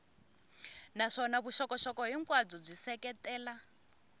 naswona vuxokoxoko hinkwabyo byi seketela